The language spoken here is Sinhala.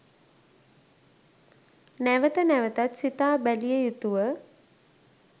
නැවත නැවතත් සිතා බැලිය යුතුව